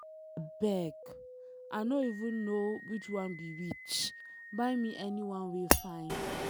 Abeg, I know even know which one be which, buy me anyone wey fine.